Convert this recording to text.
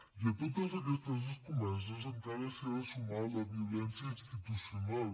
i a totes aquestes escomeses encara s’hi ha de sumar la violència institucional